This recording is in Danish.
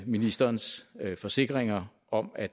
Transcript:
ministerens forsikringer om at